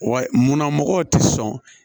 Wa munna mɔgɔw tɛ sɔn